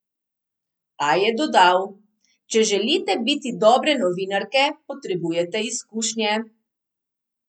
A je dodal: "Če želite biti dobre novinarke, potrebujete izkušnje.